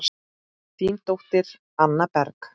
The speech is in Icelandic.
Þín dóttir, Anna Berg.